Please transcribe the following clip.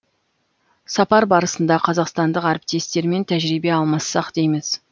сапар барысында қазақстандық әріптестермен тәжірибе алмассақ дейміз